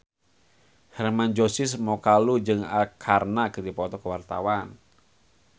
Hermann Josis Mokalu jeung Arkarna keur dipoto ku wartawan